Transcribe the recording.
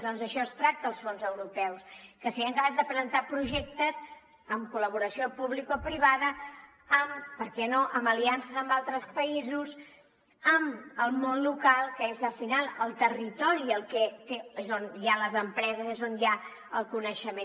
doncs d’això es tracta als fons europeus que en cas de presentar projectes amb col·laboració publicoprivada amb per què no aliances amb altres països amb el món local que és al final el territori on hi ha les empreses és on hi ha el coneixement